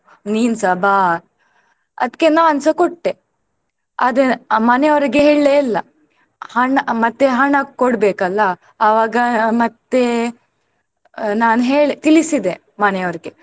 ನಿನ್ಸ ಬಾ ಅದ್ಕೇ ನಾನ್ಸ ಕೊಟ್ಟೆ ಆದ್ರೆ ಆ ಮನೆಯವ್ರಿಗೇ ಹೇಳ್ಲೇ ಇಲ್ಲ ಹಣ ಮತ್ತೆ ಹಣ ಕೊಡ್ಬೇಕಲ್ಲ ಅವಾಗ ಮತ್ತೆ ನಾನ್ ಹೇಳ್ ತಿಳಿಸಿದೆ ಮನೆಯವ್ರಿಗೆ.